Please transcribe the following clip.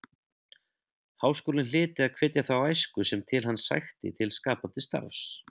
Háskólinn hlyti að hvetja þá æsku sem til hans sækti til skapandi starfs.